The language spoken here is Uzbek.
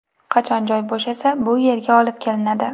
Qachon joy bo‘shasa, bu yerga olib kelinadi.